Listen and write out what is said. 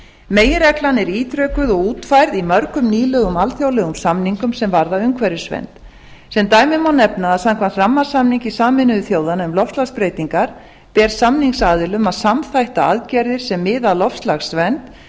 meginreglan er ítrekuð og útfærð í mörgum nýlegum alþjóðlegum samningum sem varða umhverfisvernd sem dæmi má nefna að samkvæmt rammasamningi sameinuðu þjóðanna um loftslagsbreytingar ber samningsaðilum að samþætta aðgerðir sem miða að loftslagsvernd